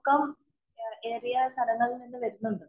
ക്കം ഏറെ ആ സ്ഥലങ്ങളില്‍ നിന്നും വരുന്നുണ്ട്.